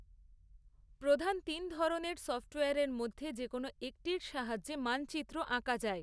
প্রধান তিন ধরণের সফট্ওয়্যারের মধ্যে যে কোনো একটির সাহায্যে মানচিত্র আঁকা যায়।